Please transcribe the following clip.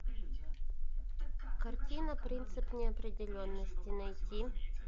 картина принцип неопределенности найти